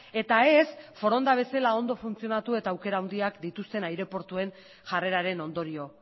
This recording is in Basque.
eta ez foronda bezala ondo funtzionatu eta aukera handiak dituzten aireportuen jarreraren ondorio